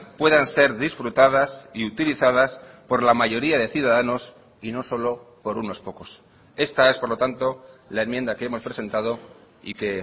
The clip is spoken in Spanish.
puedan ser disfrutadas y utilizadas por la mayoría de ciudadanos y no solo por unos pocos esta es por lo tanto la enmienda que hemos presentado y que